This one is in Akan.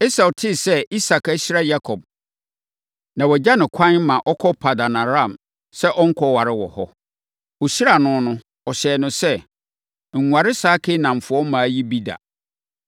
Esau tee sɛ Isak ahyira Yakob, na wagya no kwan ma ɔkɔ Paddan-Aram sɛ ɔnkɔware wɔ hɔ. Ɔhyiraa no no, ɔhyɛɛ no sɛ, “Nware saa Kanaanfoɔ mmaa yi bi da.”